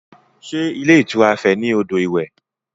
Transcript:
Sé ilé ìtura Ife ní odò iwẹ̀?